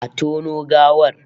Exhume the corpse!